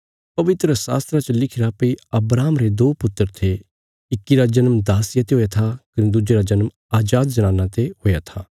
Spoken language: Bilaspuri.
पवित्रशास्त्रा च लिखिरा भई अब्राहम रे दो पुत्र थे इक्की रा जन्म दासिया ते हुया था कने दुज्जे रा जन्म अजाद जनाना ते हुया था